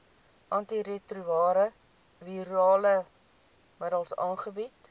antiretrovirale middels aangebied